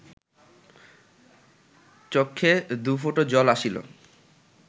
চক্ষে দুফোঁটা জল আসিল